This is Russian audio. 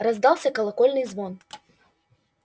раздавался колокольный звон